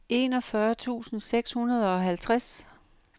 enogfyrre tusind seks hundrede og halvtreds